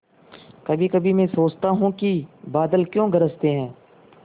कभीकभी मैं सोचता हूँ कि बादल क्यों गरजते हैं